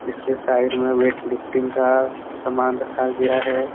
इसके साइड में weight lifting का समान रखा गया है।